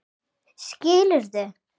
Skriðu